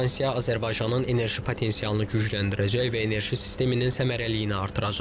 Bu stansiya Azərbaycanın enerji potensialını gücləndirəcək və enerji sisteminin səmərəliliyini artıracaq.